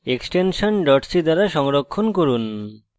extension c দ্বারা সংরক্ষণ করুন